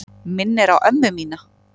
Minnir á ömmu mína.